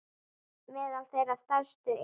Meðal þeirra stærstu eru